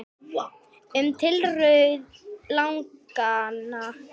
Um tilurð laganna